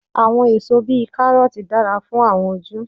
Àwọn èso bíi Kárọ́ọ̀tì dára fún àwọn ojú.